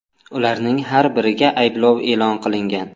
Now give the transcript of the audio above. Ularning har biriga ayblov e’lon qilingan.